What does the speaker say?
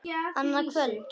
Annað kvöld??